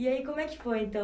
E aí, como é que foi, então